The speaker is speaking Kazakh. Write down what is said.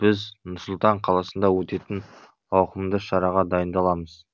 біз нұр сұлтан қаласында өтетін ауқымды шараға дайындаламыз